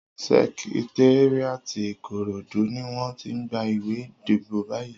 Sèkitériátí Ikorodu niwòn ti n gbá iwé idibó bàyí